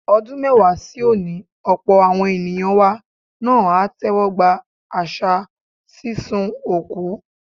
Ọdún mẹ́wàá sí òní, ọ̀pọ̀ àwọn ènìyàn wa náà á tẹ́wọ́gba àṣà sísun òkú.